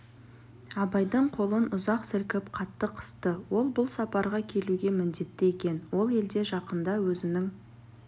абайдың қолын ұзақ сілкіп қатты қысты ол бұл сапарға келуге міндетті екен ол елде жақында өзінің